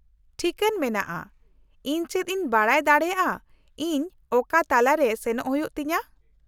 - ᱴᱷᱤᱠᱟᱹᱱ ᱢᱮᱱᱟᱜᱼᱟ, ᱤᱧ ᱪᱮᱫ ᱤᱧ ᱵᱟᱰᱟᱭ ᱫᱟᱲᱮᱭᱟᱜ ᱤᱧ ᱚᱠᱟ ᱛᱟᱞᱟ ᱨᱮ ᱥᱮᱱᱚᱜ ᱦᱩᱭᱩᱜ ᱛᱤᱧᱟᱹ ?